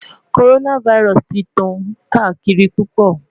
Coronavirus ti n tan kaakiri pupọ